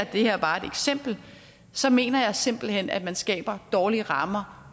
er bare et eksempel så mener jeg simpelt hen at man skaber dårlige rammer